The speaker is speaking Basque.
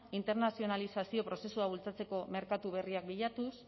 internazionalizazio prozesua bultzatzeko merkatu berriak bilatuz